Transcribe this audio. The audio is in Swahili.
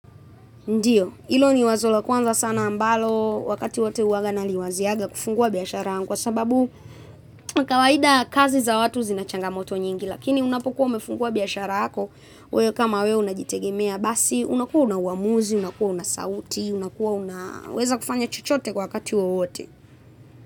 Ndiyo, ilo ni wazo la kwanza sana ambalo wakati wote huwanga naliwazianga kufungua biashara kwa sababu kawaida kazi za watu zina changamoto nyingi lakini unapokuwa umefungua biashara yako, wewe kama wewe unajitegemea basi, unakuwa una uamuzi, unakuwa una sauti, unakuwa unaweza kufanya chochote kwa wakati wowote.